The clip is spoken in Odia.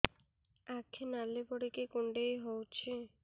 ଆଖି ନାଲି ପଡିକି କୁଣ୍ଡେଇ ହଉଛି